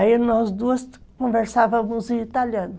Aí nós duas conversávamos em italiano.